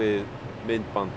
myndband